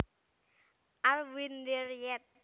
Are we there yet